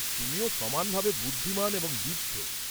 তুমিও সমানভাবে বুদ্ধিমান এবং দীপ্ত।